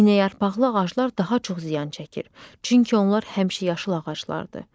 İynəyarpaqlı ağaclar daha çox ziyan çəkir, çünki onlar həmişəyaşıl ağaclardır.